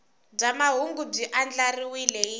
bya mahungu byi andlariwile hi